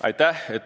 Aitäh!